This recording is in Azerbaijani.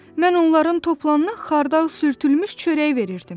Mən onların topalına xardal sürdülmüş çörək verirdim.